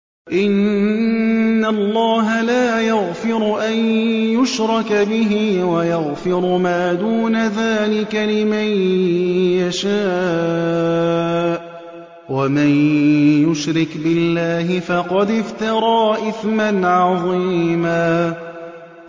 إِنَّ اللَّهَ لَا يَغْفِرُ أَن يُشْرَكَ بِهِ وَيَغْفِرُ مَا دُونَ ذَٰلِكَ لِمَن يَشَاءُ ۚ وَمَن يُشْرِكْ بِاللَّهِ فَقَدِ افْتَرَىٰ إِثْمًا عَظِيمًا